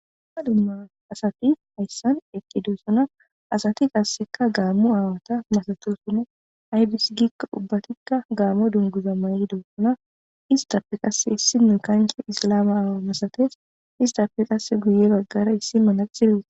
Duma duma asati haysan eqidosona ha asati kaseka gaamo aawata masatosona aybis giiko ubathika gaamo dunguza maydosona istape kase issinoy isilaama aawa masates istape kase guye bagara issi manaxire wothida Adey de'es.